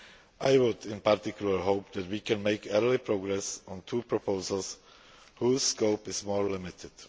I would, in particular, hope that we can make early progress on two proposals whose scope is more limited.